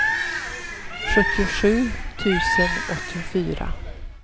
sjuttiosju tusen åttiofyra